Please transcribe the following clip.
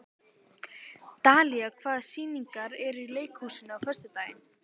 Dalía, hvaða sýningar eru í leikhúsinu á föstudaginn?